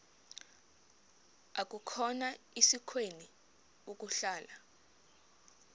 akukhona sikweni ukuhlala